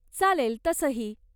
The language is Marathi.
चालेल तसंही.